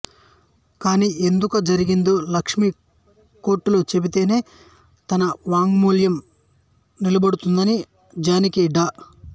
ఖూనీ ఎందుకు జరిగిందో లక్ష్మి కోర్టులో చెబితేనే తన మాంగల్యం నిలబడుతుందని జానకి డా